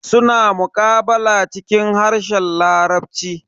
Suna muqabala cikin harshen larabci.